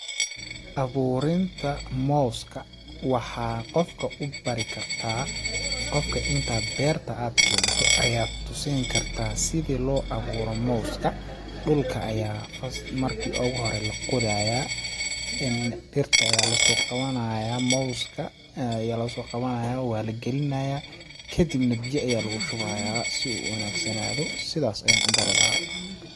Abuurin ta mooska ,waxaad qofka u bari kartaa ,qofka intaad beerta aad keento ayaad tusin kartaa si loo awuuro moowska ,dhulka ayaa m first marki u hore la qodayaa, dhirta ayaa lasoo qawanayaa moowska ayaa lasoo qawanayaa waa la galinayaa kadibn biya ayaa lagu shubayaa si uu u wanaag sanaado ,sidaas ayaan u bari lahaa.